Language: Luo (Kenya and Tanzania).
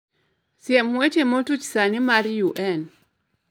Siem weche motuch sani mad UN